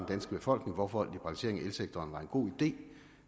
danske befolkning hvorfor liberaliseringen af elsektoren var en god idé